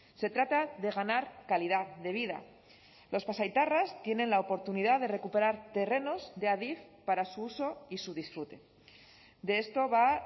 se trata de ganar calidad de vida los pasaitarras tienen la oportunidad de recuperar terrenos de adif para su uso y su disfrute de esto va